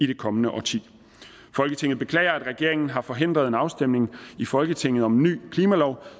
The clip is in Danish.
det kommende årti folketinget beklager at regeringen har forhindret en afstemning i folketinget om en ny klimalov